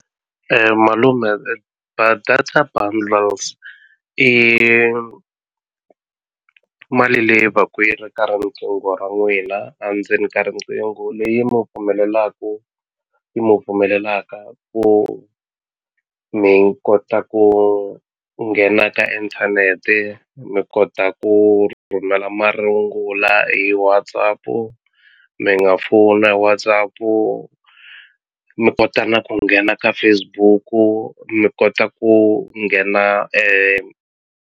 Malume data bundles i mali leyi va ku yi ri ka riqingho ra n'wina a ndzeni ka riqingho leyi mu pfumelelaku yi mu pfumelelaka ku mi kota ku nghena ka inthanete mi kota ku rhumela marungula hi WhatsApp mi nga fona hi WhatsApp-u mi kota na ku nghena ka Facebook-u mi kota ku nghena .